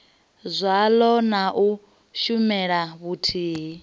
zwaḽo na u shumela vhuthihi